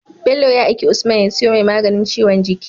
Bello ya aiki usman ya siyo mai maganin ciwon jiki